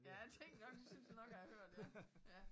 Ja jeg tænkte nok det synes jeg nok jeg har hørt ja ja